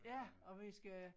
Ja og vi skal